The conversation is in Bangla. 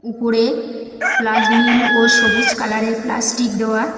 উপরে প্লাজ নীল ও সবুজ কালারের প্লাস্টিক দেওয়া।